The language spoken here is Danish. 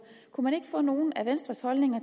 kunne man ikke få nogle af venstres holdninger